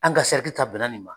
An ka sarikili ta bɛnna nin ma.